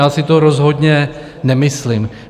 Já si to rozhodně nemyslím.